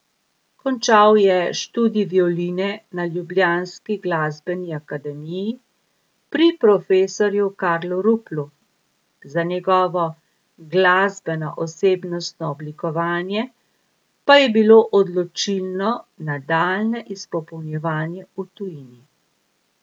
Končal je študij violine na ljubljanski glasbeni akademiji pri profesorju Karlu Ruplu, za njegovo glasbeno osebnostno oblikovanje pa je bilo odločilno nadaljnje izpopolnjevanje v tujini.